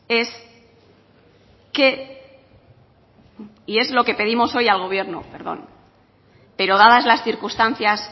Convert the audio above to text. pero dadas las circunstancias